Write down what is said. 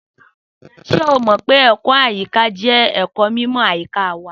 Só mó pẹ ẹkọ àyiká jẹ ẹkó mímò àyíkà wà?